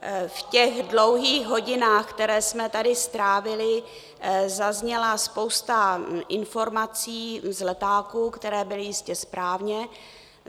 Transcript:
V těch dlouhých hodinách, které jsme tady strávili, zazněla spousta informací z letáků, které byly jistě správně.